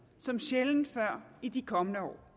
som sjældent før i de kommende år